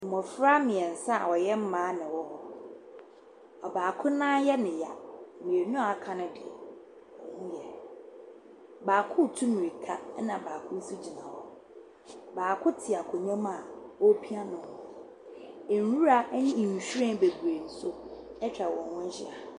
Mbɔfra miɛnsa wɔyɛ mbaa na ɛwɔ hɔ. Ɔbaako nan yɛ ne ya. Mienu aka ne de ɔmo ho yɛ. Baako tu mirika ɛna baako so gyina hɔ. Baako te akonwa mua opia no. Nwura ɛne nhwiren bebree so etwa ɔmo ho ehyia.